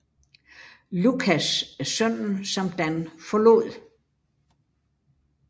Lucas er sønnen som Dan forlod